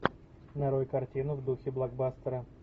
нарой картину в духе блокбастера